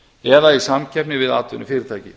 eða í samkeppni við atvinnufyrirtæki